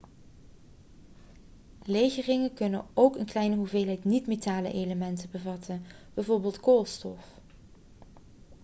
legeringen kunnen ook een kleine hoeveelheid niet-metalen elementen bevatten bijvoorbeeld koolstof